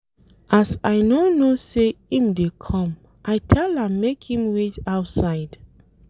As I no know sey im dey come, I tell am make im wait outside.